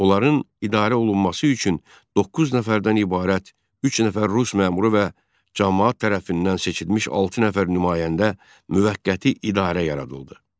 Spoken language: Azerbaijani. Onların idarə olunması üçün doqquz nəfərdən ibarət üç nəfər rus məmuru və camaat tərəfindən seçilmiş altı nəfər nümayəndə müvəqqəti idarə yaradıldı.